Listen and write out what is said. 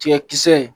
Tigakisɛ ye